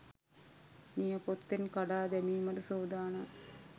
නියපොත්තෙන් කඩා දැමීමට සූදානම්